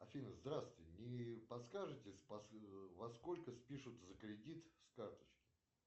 афина здравствуйте не подскажете во сколько спишут за кредит с карточки